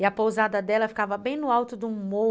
E a pousada dela ficava bem no alto do mor